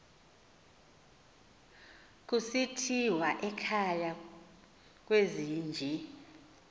kusithiwa ekhaya kwezinje